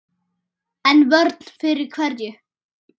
En vörn fyrir hverju?